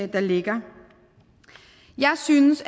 der ligger jeg synes